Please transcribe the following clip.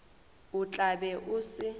o tla be o se